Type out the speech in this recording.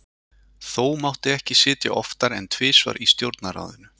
þó mátti ekki sitja oftar en tvisvar í stjórnarráðinu